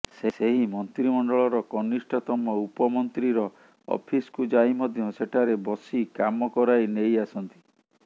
ସେହି ମନ୍ତ୍ରିମଣ୍ଡଳର କନିଷ୍ଠତମ ଉପମନ୍ତ୍ରୀର ଅଫିସକୁ ଯାଇ ମଧ୍ୟ ସେଠାରେ ବସିକାମ କରାଇ ନେଇଆସନ୍ତି